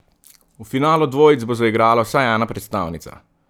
V finalu dvojic bo zaigrala vsaj ena predstavnica.